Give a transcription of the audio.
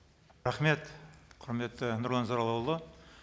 рахмет құрметті нұрлан зайроллаұлы